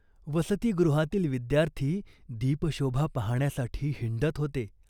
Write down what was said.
वसतिगृहातील विद्यार्थी दीप शोभा पाहाण्यासाठी हिंडत होते.